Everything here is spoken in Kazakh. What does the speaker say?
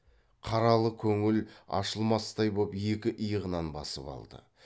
қаралы көңіл ашылмастай боп екі иығынан басып алды